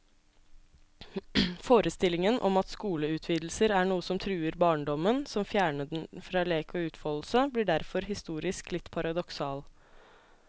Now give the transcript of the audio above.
Forestillingen om at skoleutvidelser er noe som truer barndommen, som fjerner den fra lek og utfoldelse, blir derfor historisk litt paradoksal.